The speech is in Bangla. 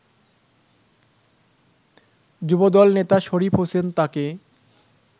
যুবদল নেতা শরীফ হোসেন তাকে